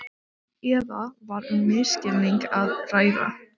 Eða var um misskilning að ræða.